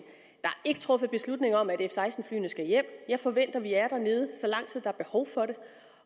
ikke truffet beslutning om at f seksten flyene skal hjem jeg forventer at vi er dernede så lang tid er behov for det